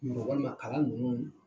Mɔgɔ ma kala ninnu.